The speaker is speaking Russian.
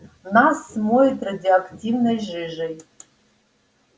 нас смоет радиоактивной жижей